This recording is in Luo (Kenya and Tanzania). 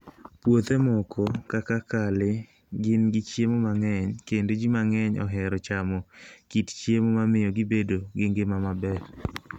Puothe moko, kaka kale, gin gi chiemo mang'eny kendo ji mang'eny ohero chamo kit chiemo ma miyo gibedo gi ngima maber.